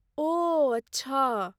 ओह, अच्छा।